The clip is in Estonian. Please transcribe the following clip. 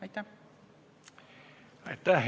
Aitäh!